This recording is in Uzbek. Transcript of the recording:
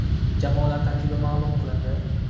Jamoalar tarkibi ma’lum qilindi.